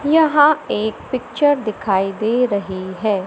यहां एक पिक्चर दिखाई दे रही है।